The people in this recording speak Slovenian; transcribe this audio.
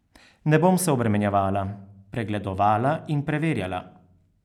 Ne bom se obremenjevala, pregledovala in preverjala.